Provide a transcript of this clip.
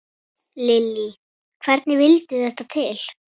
Lillý: Hvernig vildi þetta til?